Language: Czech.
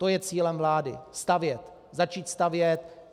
To je cílem vlády - stavět, začít stavět.